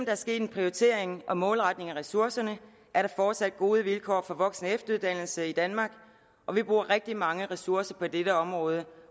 er sket en prioritering og målretning af ressourcerne at der fortsat gode vilkår for voksen og efteruddannelse i danmark og vi bruger rigtig mange ressourcer på dette område